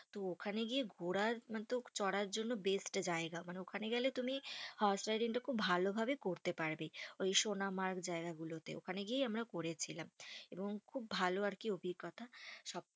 তো ওখানে গিয়ে ঘোড়ার তো চড়ার জন্য best জায়গা। মানে ওখানে গেলে তুমি horse riding টা খুব ভালো ভাবে করতে পারবে। ওই সোনারমার্গ জায়গাগুলোতে। ওখানে গিয়েই আমরা করেছিলাম। এবং খুব ভালো আর কি অভিজ্ঞতা। সব